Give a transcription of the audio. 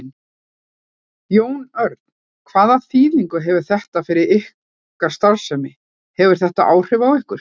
Jón Örn: Hvaða þýðingu hefur þetta fyrir ykkar starfsemi, hefur þetta áhrif á ykkur?